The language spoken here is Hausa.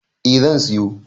A zan siyo